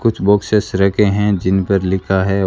कुछ बॉक्सेस रखे हैं जिन पर लिखा है--